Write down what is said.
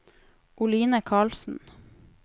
Oline Karlsen